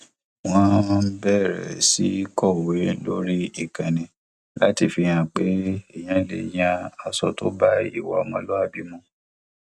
wọn bẹrẹ sí kọwé lórí ìkànnì láti fi hàn pé èèyàn lè yan aṣọ tó bá ìwà ọmọlúwàbí mu